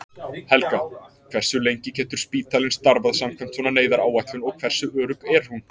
Helga: Hversu lengi getur spítalinn starfað samkvæmt svona neyðaráætlun og hversu örugg er hún?